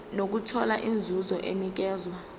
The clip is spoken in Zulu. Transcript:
nokuthola inzuzo enikezwa